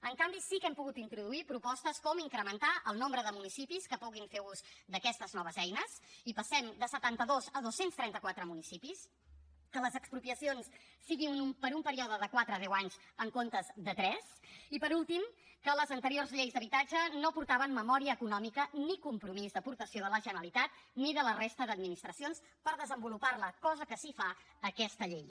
en canvi sí que hem pogut introduir propostes com incrementar el nombre de municipis que puguin fer ús d’aquestes noves eines i passem de setanta dos a dos cents i trenta quatre municipis que les expropiacions siguin per un període de quatre a deu anys en comptes de tres i per últim que les anteriors lleis d’habitatge no portaven memòria econòmica ni compromís d’aportació de la generalitat ni de la resta d’administracions per desenvolupar la cosa que sí que fa aquesta llei